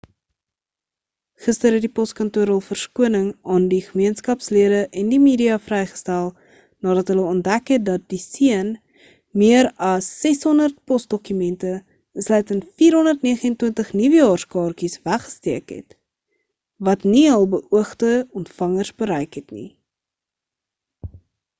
gister het die poskantoor hul verskoning aan die gemeenskapslede en die media vrygestel nadat hulle ontdek het dat die seun meer as 600 posdokumente insluitend 429 nuwejaarskaartjies weggesteek het wat nie hul beoogde ontvangers bereik het nie